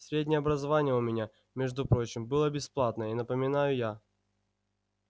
среднее образование у меня между прочим было бесплатное напоминаю я